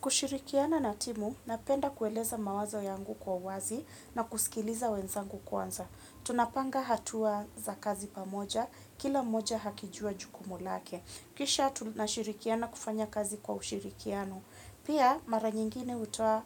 Kushirikiana na timu napenda kueleza mawazo yangu kwa uwazi na kusikiliza wenzangu kwanza. Tunapanga hatua za kazi pamoja, kila moja hakijua jukumulake. Kisha tunashirikiana kufanya kazi kwa ushirikiano. Pia mara nyingine utoa